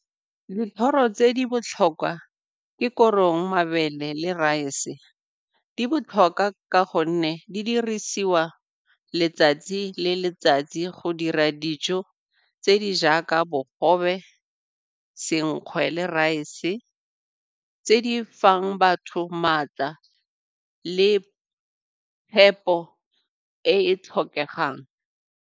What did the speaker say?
Dithoro tse di botlhokwa ke korong, mabele le rice. Di botlhokwa ka gonne di dirisiwa letsatsi le letsatsi go dira dijo tse di jaaka bogobe, senkgwe le rice tse di fang batho maatla le phepo e e tlhokegang.